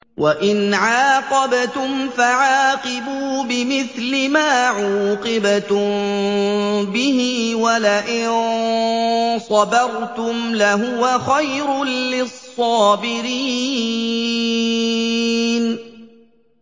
وَإِنْ عَاقَبْتُمْ فَعَاقِبُوا بِمِثْلِ مَا عُوقِبْتُم بِهِ ۖ وَلَئِن صَبَرْتُمْ لَهُوَ خَيْرٌ لِّلصَّابِرِينَ